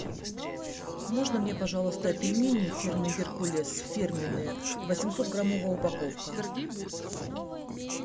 можно мне пожалуйста пельмени фирмы геркулес фирменные восемьсот граммовая упаковка